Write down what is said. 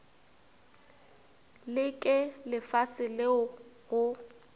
le ke lefase leo go